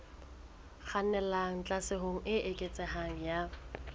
kgannelang tlhaselong e eketsehang ya